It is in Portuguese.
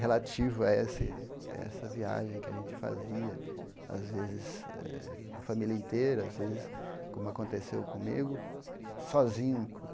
relativo a esse essa viagem que a gente fazia, às vezes a família inteira, às vezes, como aconteceu comigo, sozinho.